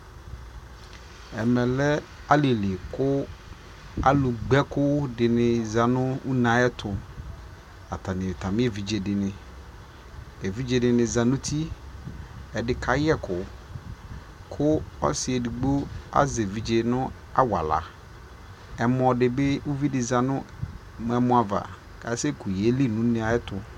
ɛmɛ lɛ alili kʋ alʋgba ɛkʋ di zanʋ ʋnɛ ayɛtʋ, atani nʋ atami ɛvidzɛ dini, ɛvidzɛ dini zanʋ ʋti, ɛdikayɛ ɛkʋ kʋɔsii ɛdigbɔ azɛ ɛvidzɛ nʋ awala, ɛmɔ dibi, ʋvidi zanʋ ɛmɔ aɣa kʋ asɛ kʋ yɛli nʋ ʋnɛ ɛtʋ